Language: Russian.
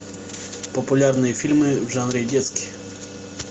популярные фильмы в жанре детский